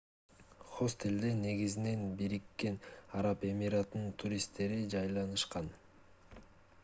хостелде негизинен бириккен араб эмираттарынын туристтери жайланышкан